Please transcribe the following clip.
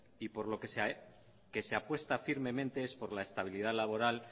y por lo que se apuesta firmemente es por la estabilidad laboral